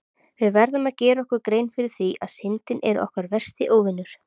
Við verðum að gera okkur grein fyrir því að Syndin er okkar versti óvinur!